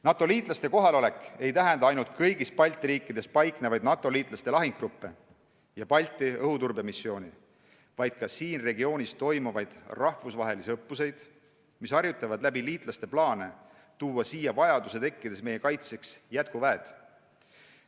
NATO-liitlaste kohalolek ei tähenda ainult kõigis Balti riikides paiknevaid NATO-liitlaste lahingugruppe ja Balti õhuturbemissiooni, vaid ka siin regioonis toimuvaid rahvusvahelisi õppusi, kus mängitakse läbi liitlaste plaane tuua siia vajaduse tekkides meie kaitseks jätkuväed.